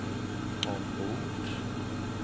ombord